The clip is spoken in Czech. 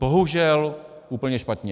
Bohužel úplně špatně.